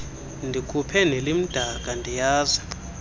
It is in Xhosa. ndikhuphe nelimdaka ndiyazi